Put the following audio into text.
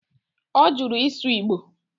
Ọ jụrụ ịsụ Igbo